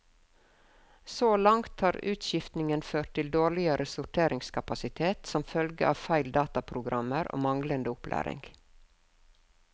Så langt har utskiftningen ført til dårligere sorteringskapasitet som følge av feil i dataprogrammer og manglende opplæring.